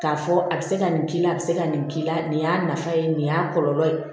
K'a fɔ a bɛ se ka nin k'i la a bɛ se ka nin k'i la nin y'a nafa ye nin y'a kɔlɔlɔ ye